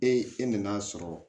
Ee e nan'a sɔrɔ